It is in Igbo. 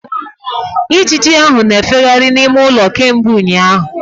Ijiji ahụ na-efegharị n'ime ụlọ kemgbe ụnyaahụ.